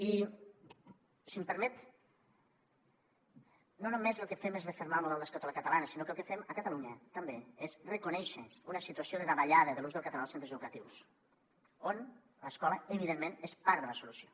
i si m’ho permet no només el que fem és refermar el model d’escola catalana sinó que el que fem a catalunya també és reconèixer una situació de davallada de l’ús del català als centres educatius on l’escola evidentment és part de la solució